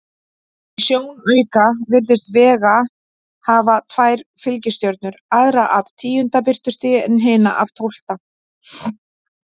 Í sjónauka virðist Vega hafa tvær fylgistjörnur, aðra af tíunda birtustigi en hina af tólfta.